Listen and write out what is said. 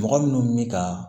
Mɔgɔ minnu bɛ ka